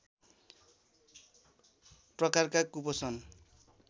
प्रकारका कुपोषण